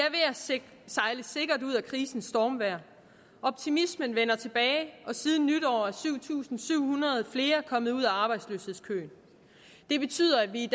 sejle sikkert ud af krisens stormvejr optimismen vender tilbage og siden nytår er syv tusind syv hundrede flere kommet ud af arbejdsløshedskøen det betyder at vi